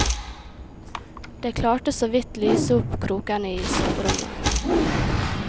Det klarte såvidt lyse opp krokene isoverommet.